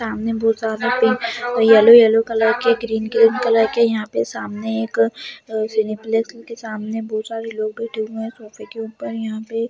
सामने बहुत ज्यादा पिंक येलो-येलो कलर के ग्रीन-ग्रीन कलर के यहाँ पर आमने एक सेनिप्लेक्स के बहुत सारे लोग बैठे हुए हैं जैसे उनको यहाँ पे---